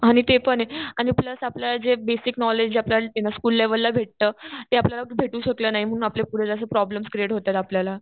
आणि ते पने आणि प्लस आपल्याला जे बेसिक नॉलेज आपल्याला जे स्कुल लेवला भेटत ते आपल्याला भेटू शकलं नाही म्हणून आपल्याला पुढे जास्त प्रोब्लेमस क्रिएट होतायेत आपल्याला.